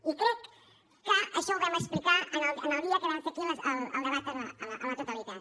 i crec que això ho vam explicar el dia que vam fer aquí el debat a la totalitat